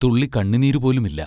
തുള്ളി കണ്ണുനീരു പോലുമില്ല.